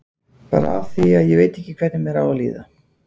Bara af því að ég veit ekki hvernig mér á að líða.